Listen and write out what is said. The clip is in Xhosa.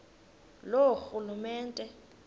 loorhulumente